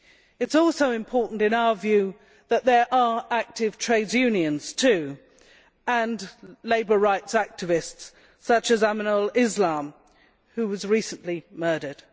It is also important, in our view, that there are active trade unions and labour rights' activists such as Aminul Islam, who was recently murdered.